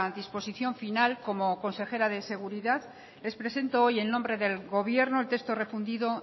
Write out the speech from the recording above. disposición final como consejera de seguridad les presento hoy en nombre del gobierno el texto refundido